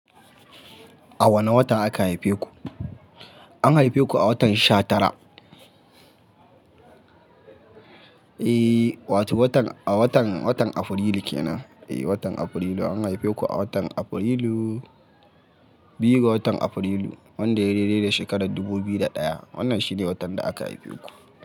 A wane wata aka haife ku? An haife ku a watan sha tara. Eh wato, watan, a watan, watan Afrilu kenan. Eh watan Afrilu. An haife ku a watan Afrilu. Biyu ga watan Afrilu, wanda yayi dai-dai da shekarar dubu biyu da ɗaya. Wannan shi ne watan da aka haife ku.